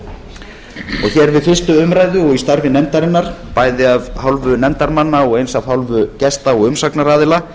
fyrstu umræðu og í starfi nefndarinnar bæði af hálfu nefndarmanna og eins af hálfu gesta og umsagnaraðila